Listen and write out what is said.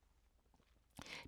DR1